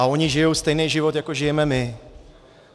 A oni žijou stejný život, jako žijeme my.